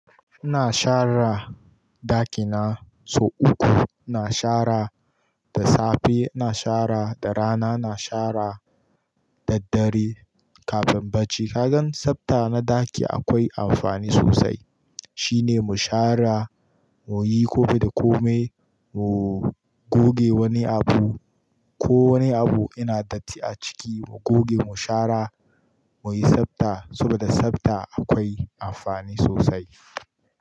Ina shara daki na sau uku, ina shara da safe, ina shara da rana, ina shara da daddare kafin bacci. Kagan sabta na ɗaki akwai amfani sosai. Shi ne mu shara, muyi ko da komai, mu goge wani abu ko wani abu yana datti a ciki mu goge mu shara, muyi sabta saboda sabta akwai amfani sosai.